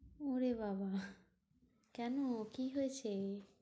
ওরে বাবাঃ কেন কি হয়েছে?